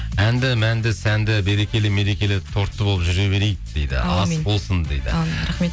әнді мәнді сәнді берекелі мерекелі тортты болып жүре берейік дейді ас болсын дейді әумин рахмет